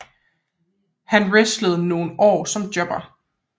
Han wrestlede i nogle år som jobber